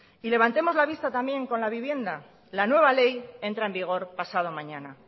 y levantemos la vista también con la vivienda la nueva ley entra en vigor pasado mañana